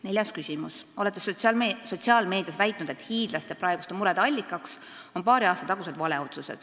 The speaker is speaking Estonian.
Neljas küsimus: "Olete sotsiaalmeedias väitnud, et hiidlaste praeguste murede allikaks on paari aasta tagused valeotsused.